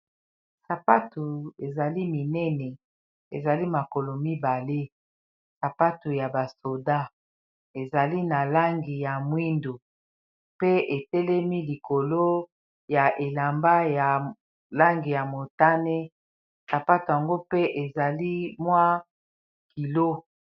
Sapatu ezali minene ezali makolo mibale sapatu ya basoda ezali na langi ya mwindo pe etelemi likolo ya elamba ya langi ya motane sapatu yango pe ezali mwa kilo.